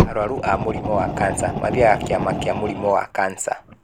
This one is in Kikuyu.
arũaru a mũrimũ wa kansa mathiaga kiama kia mũrĩmũ wa kansa.